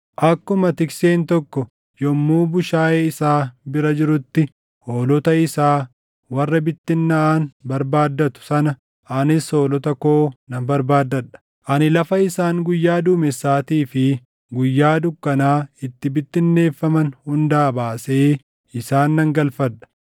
Akkuma tikseen tokko yommuu bushaayee isaa bira jirutti hoolota isaa warra bittinnaaʼan barbaaddatu sana anis hoolota koo nan barbaaddadha. Ani lafa isaan guyyaa duumessaatii fi guyyaa dukkanaa itti bittinneeffaman hundaa baasee isaan nan galfadha.